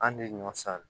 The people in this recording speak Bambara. An de ɲɔ san